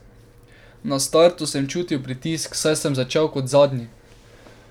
Na startu sem čutil pritisk, saj sem začel kot zadnji.